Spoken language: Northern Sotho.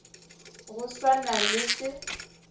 go sa na le se